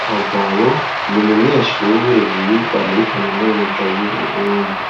Kagabo ni umunyeshure yiga muri kaminuza y'uburundi